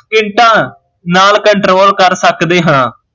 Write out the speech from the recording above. ਸਕਿੰਟਾਂ ਨਾਲ਼ control ਕਰ ਸਕਦੇ ਹਾਂ